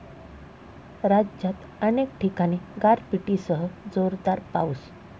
राज्यात अनेक ठिकाणी गारपिटीसह जोरदार पाऊस